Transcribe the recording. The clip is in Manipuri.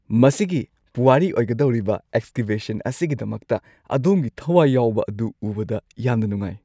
ꯃꯁꯤꯒꯤ ꯄꯨꯋꯥꯔꯤ ꯑꯣꯏꯒꯗꯧꯔꯤꯕ ꯑꯦꯛꯁꯀꯦꯚꯦꯁꯟ ꯑꯁꯤꯒꯤꯗꯃꯛꯇ ꯑꯗꯣꯝꯒꯤ ꯊꯋꯥꯏ ꯌꯥꯎꯕ ꯑꯗꯨ ꯎꯕꯗ ꯌꯥꯝꯅ ꯅꯨꯡꯉꯥꯢ!